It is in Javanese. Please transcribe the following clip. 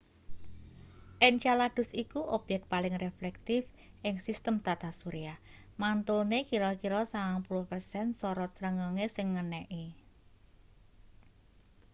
encaladus iku obyek paling reflektif ing sistem tata surya mantulne kira-kira 90 persen sorot srengenge sing ngeneki